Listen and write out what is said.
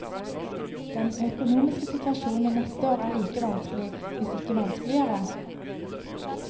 Den økonomiske situasjonen neste år er like vanskelig, hvis ikke vanskeligere.